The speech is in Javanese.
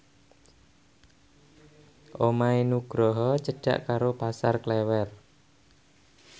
omahe Nugroho cedhak karo Pasar Klewer